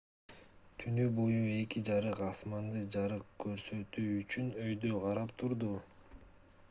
түнү бою эки жарык асманды жарык көрсөтүү үчүн өйдө карап турду